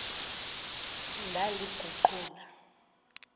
ndaliguqula